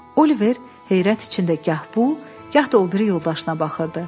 Oliver heyrət içində gah bu, gah da o biri yoldaşına baxırdı.